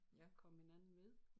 Komme hinanden ved